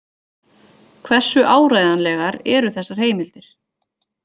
Hversu áreiðanlegar eru þessar heimildir?